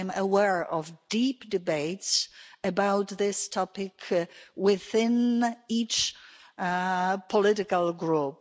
I'm aware of deep debates about this topic within each political group.